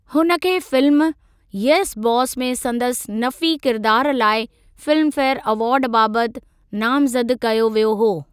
हुन खे film ‘yes boss’ में संदसि नफ़ी किरिदार लाइ फिल्मफेयरु अवार्ड बाबति नामज़द कयो वियो हो।